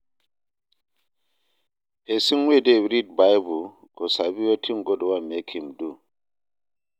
Pesin wey dey read bible go sabi wetin God want mek im do.